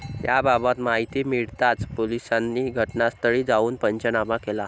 याबाबत माहिती मिळताच पोलिसांनी घटनास्थळी जाऊन पंचनामा केला.